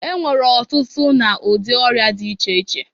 E nwere ọtụtụ na ụdị ọrịa dị iche iche.